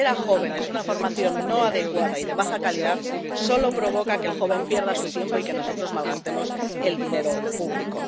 Ofrecer a los jóvenes una formación no adecuada y de baja calidad solo provoca que el joven pierda su tiempo y que nosotros malgastemos el dinero público.